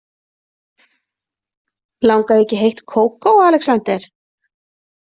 Langar þig ekki í heitt kókó, Alexander?